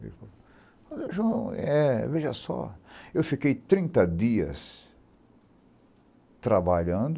Ele falou, olha João, é, veja só, eu fiquei trinta dias trabalhando,